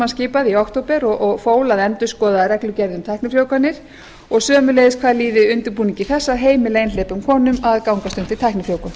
skipaði í október og fól að endurskoða reglugerð um tæknifrjóvganir og sömuleiðis hvað líði undirbúningi þess að heimila einhleypum konum að gangast undir tæknifrjóvgun